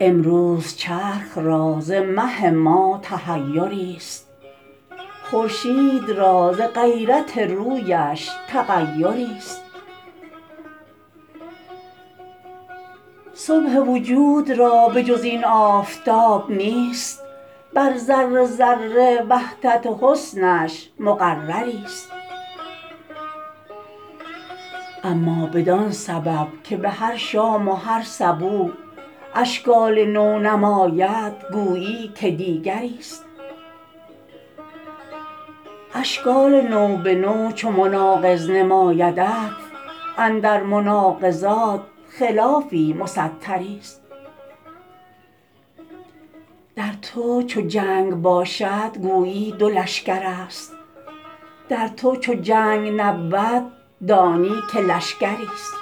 امروز چرخ را ز مه ما تحیری ست خورشید را ز غیرت رویش تغیری ست صبح وجود را به جز این آفتاب نیست بر ذره ذره وحدت حسنش مقرری ست اما بدان سبب که به هر شام و هر صبوح اشکال نو نماید گویی که دیگری ست اشکال نو به نو چو مناقض نمایدت اندر مناقضات خلافی مستری ست در تو چو جنگ باشد گویی دو لشکر است در تو چو جنگ نبود دانی که لشکری ست